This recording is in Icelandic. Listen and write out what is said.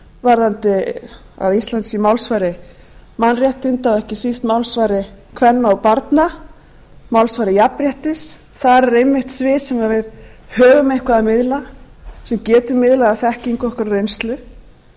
varðandi það að ísland sé málsvari mannréttindi og ekki síst málsvari kvenna og barna málsvari jafnréttis þar er einmitt svið sem við höfum einhverju að miðla sem við getum miðlað af þekkingu okkar og reynslu og